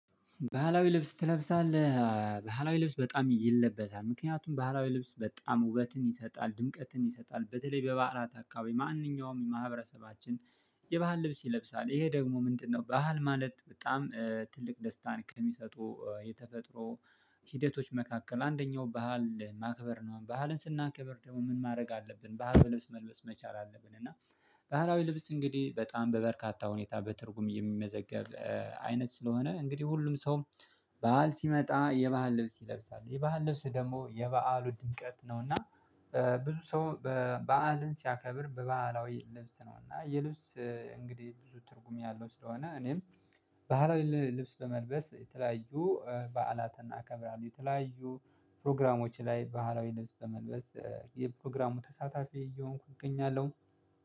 ባህላዊ ልብስ ትለብሳለህ ባህላዊ ልብስ በጣም ይለበሳል ምክንያቱም ባህላዊ ልብስ በጣም ውበትን ይሰጣል ድምቀትን ይሰጣል። በተለይ በባህላት አካባቢ ማንኛውም የማህበረሰባችን የባህል ልብስ ይለብሳል። ይሄ ደግሞ ምንድነው? ባህል ማለት በጣም ትልቅ ደስታን ከሚሰጡ የተፈጥሮ ሂደቶች መካከል አንደኛው ባህል ማክበር ነው። ባህልን ስናከብር ደግሞ ምን ማድረግ አለብን? ባህል ብለስ መልበስ መቻል አለብን። እና ባህላዊ ልብስ እንግዲህ በጣም በበርካታ ሁኔታ በትርጉም የሚመዘገብ አይነት ስለሆነ እንግዲህ ሁሉም ሰው። በዓል ሲመጣ የባህል ልብስ ይለብሳል የባህል ልብስ ደግሞ የበአል ድምቀት ነው። እና ብዙ ሰው በባህልን ሲያከብር በባህላዊ ልብስ ነው። እና የልብስ እንግዲህ ብዙ ትርጉም ያለው ስለሆነ እኔም ባህላዊ ልብስ ለመልበስ የተለያዩ በዓላት እናከብራለን። የተለያዩ ፕሮግራሞች ላይ ባህላዊ ልብስ በመልበስ የፕሮግራሙ ተሳታፊ እየሆንኩኝ እገኛለሁ።